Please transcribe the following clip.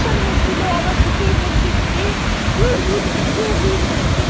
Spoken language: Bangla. হচ্ছিলো আমার বুকের মধ্যে যে কে জিতবে? কে জিতবে?